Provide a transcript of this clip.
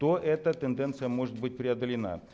то эта тенденция может быть преодолена